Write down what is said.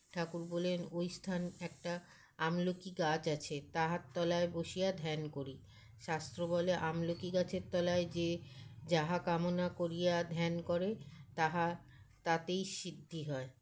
ঠাকুর বলেন ঐস্থান একটা আমলকি গাছ আছে তাহার তলায় বসিয়া ধ্যান করি শাস্ত্র বলে আমলকি গাছের তলায় যে যাহা কামনা করিয়া ধ্যান করে তাহা তাতেই সিদ্ধি হয়